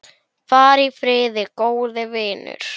Far í friði, góði vinur.